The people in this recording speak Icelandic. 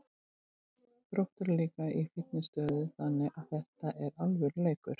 Þróttur er líka í fínni stöðu þannig að þetta er alvöru leikur.